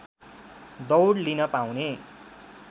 दौड लिन पाउने